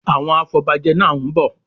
Àwọn afọbajẹ náá ń bọ̀